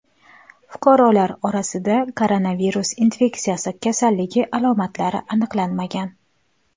Fuqarolar orasida koronavirus infeksiyasi kasalligi alomatlari aniqlanmagan.